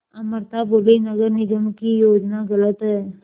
अमृता बोलीं नगर निगम की योजना गलत है